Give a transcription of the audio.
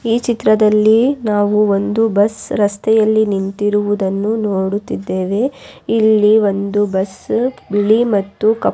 ಈ ಚಿತ್ರದಲ್ಲಿ ನಾವು ಒಂದು ಬಸ್ ರಸ್ತೆಯಲ್ಲಿ ನಿಂತಿರುವುದನ್ನು ನೋಡುತ್ತಿದ್ದೇವೆ ಇಲ್ಲಿ ಒಂದು ಬಸ್ಸ ಬಿಳಿ ಮತ್ತು ಕಪ್ಪು--